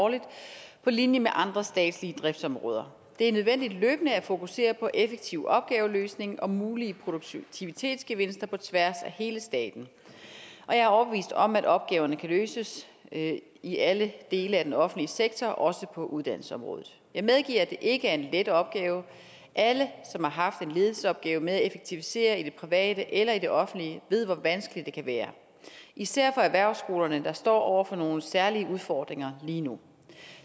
årligt på linje med andre statslige driftsområder det er nødvendigt løbende at fokusere på effektiv opgaveløsning og mulige produktivitetsgevinster på tværs af hele staten jeg er overbevist om at opgaverne kan løses i alle dele af den offentlige sektor også på uddannelsesområdet jeg medgiver at det ikke er en let opgave alle som har haft en ledelsesopgave med at effektivisere i det private eller i det offentlige ved hvor vanskeligt det kan være især for erhvervsskolerne der står over for nogle særlige udfordringer lige nu